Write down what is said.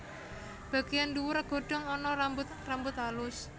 Bagéyan ndhuwur godhong ana rambut rambut alus